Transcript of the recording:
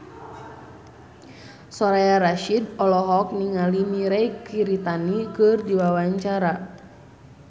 Soraya Rasyid olohok ningali Mirei Kiritani keur diwawancara